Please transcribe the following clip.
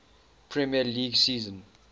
premier league season